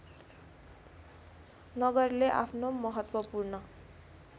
नगरले आफ्नो महत्त्वपूर्ण